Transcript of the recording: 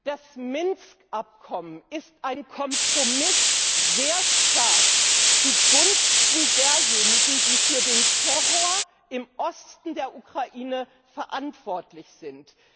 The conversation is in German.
Das Minsk Abkommen ist ein Kompromiss, sehr stark zugunsten derjenigen, die für den Terror im Osten der Ukraine verantwortlich sind.